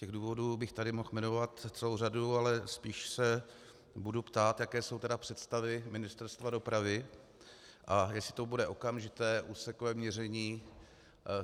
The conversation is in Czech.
Těch důvodů bych tady mohl jmenovat celou řadu, ale spíše se budu ptát, jaké jsou tedy představy Ministerstva dopravy a jestli to bude okamžité úsekové měření.